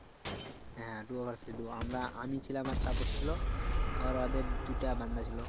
হ্যাঁ duo vs duo আমরা আমি ছিলাম আর তাপস ছিল আর ওদের দুটা বান্দা ছিল